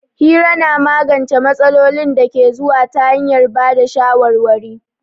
Hira na magance matsalolin da ke zuwa ta hanyar ba da shawarwari.